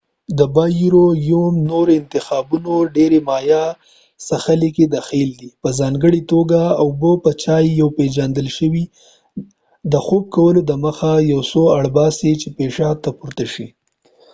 د بایرویوم نور انتخابونه د ډیری مایع څښلو کې دخیل دي په ځانګړي توګه اوبه یا چای، یو پیژندل شوی ډایورټیک د خوب کولو دمخه ، یو څوک اړ باسي چې پیشاب ته پورته شي۔